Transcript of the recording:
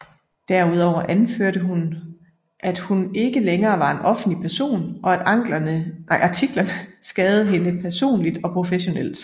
Derudover anførte hun at hun ikke længere var en offentlig person og at artiklerne skadede hende personligt og professionelt